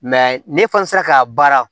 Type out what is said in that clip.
ne fana sera ka baara